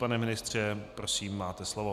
Pane ministře, prosím, máte slovo.